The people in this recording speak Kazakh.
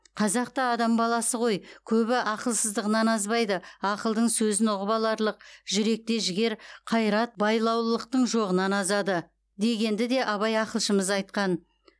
қазақ та адам баласы ғой көбі ақылсыздығынан азбайды ақылдың сөзін ұғып аларлық жүректе жігер қайрат байлаулылықтың жоғынан азады дегенді де абай ақылшымыз айтқан